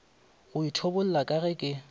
go ithobolla ka ge ke